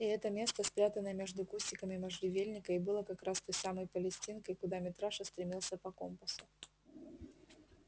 и это место спрятанное между кустиками можжевельника и было как раз той самой палестинкой куда митраша стремился по компасу